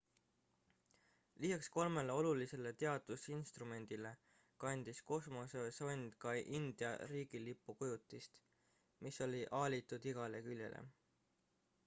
lisaks kolmele olulisele teadusinstrumendile kandis kosmosesond ka india riigilipu kujutist mis oli aalitud igale küljele